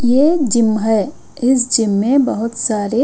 ये जिम है इस जिम में बहुत सारे--